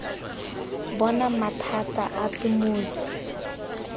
bo na mathata ape mmoki